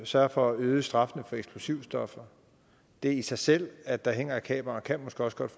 sørger for at øge straffen for eksplosivstoffer det i sig selv at der hænger et kamera kan måske også godt